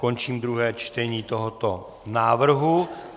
Končím druhé čtení tohoto návrhu.